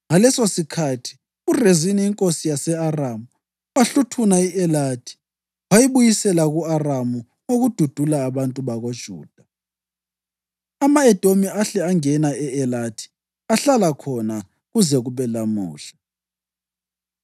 Ngalesosikhathi, uRezini inkosi yase-Aramu, wahluthuna i-Elathi wayibuyisela kuma-Aramu ngokududula abantu bakoJuda. Ama-Edomi ahle angena e-Elathi ahlala khona kuze kube lamuhla.